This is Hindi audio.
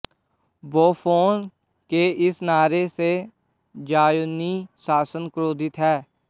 बोफ़ोन के इस नारे से ज़ायोनी शासन क्रोधित है